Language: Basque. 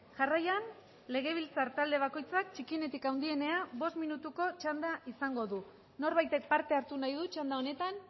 jarraian legebiltzar talde bakoitzak txikienetik handienera bost minutuko txanda izango du norbaitek parte hartu nahi du txanda honetan